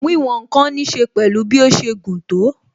Wíwòn ǹkan ní ṣe pẹ̀lú bí ó ṣe gùn tó